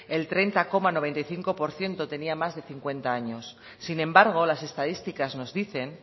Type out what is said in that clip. el treinta coma noventa y cinco por ciento tenían más de cincuenta años sin embargo las estadísticas nos dicen